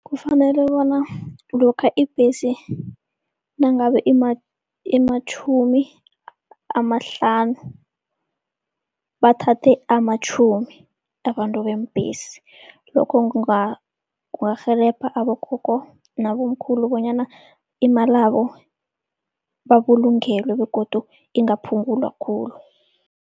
Kufanele bona lokha ibhesi nangabe imatjhumi amahlanu, bathathe amatjhumi abantu beembhesi. Lokho kungarhelebha abogogo nabomkhulu bonyana imalabo babulungelwe begodu ingaphungulwa khulu.